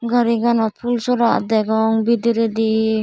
gari ganot phool sora degong bidiredi.